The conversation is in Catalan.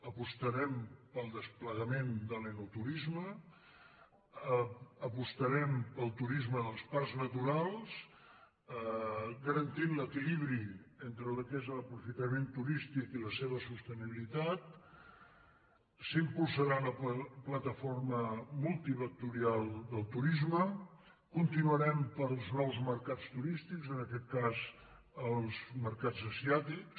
apostarem pel desplegament de l’enoturisme apostarem pel turisme dels parcs na·turals garantint l’equilibri entre el que és l’aprofita·ment turístic i la seva sostenibilitat s’impulsarà la pla·taforma multivectorial del turisme i continuarem pels nous mercats turístics en aquest cas els mercats asià·tics